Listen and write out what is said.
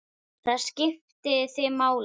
Það skipti þig máli.